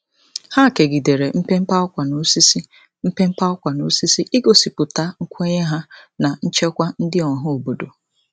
Ha kegidere mpempe ákwà n'osisi, mpempe ákwà n'osisi, igosipụta nkwenye ha na nchekwa ndị ọhaobodo.